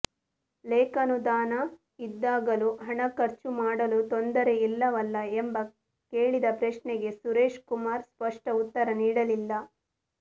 ಲೇಖಾನುದಾನ ಇದ್ದಾಗಲೂ ಹಣ ಖರ್ಚು ಮಾಡಲು ತೊಂದರೆ ಇಲ್ಲವಲ್ಲ ಎಂದು ಕೇಳಿದ ಪ್ರಶ್ನೆಗೆ ಸುರೇಶಕುಮಾರ್ ಸ್ಪಷ್ಟ ಉತ್ತರ ನೀಡಲಿಲ್ಲ